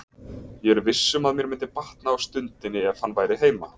Ég er viss um að mér myndi batna á stundinni ef hann væri heima.